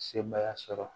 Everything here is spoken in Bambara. Sebaaya sɔrɔ